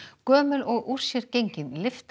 gömul og úr sér gengin lyfta